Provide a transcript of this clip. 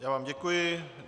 Já vám děkuji.